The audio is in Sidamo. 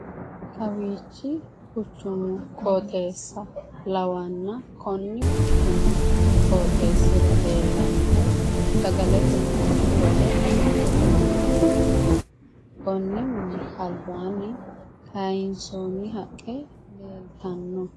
Kawiichi quchumu qooxeessa lawann konni quchumi qooxeessira leellannohu sagaletenna bunu woleno agattote mini leellanno konni mini albaanni kaayinsoonni haqqe leeltanno.